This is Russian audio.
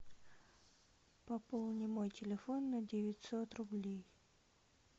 пополни мой телефон на девятьсот рублей